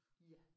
Ja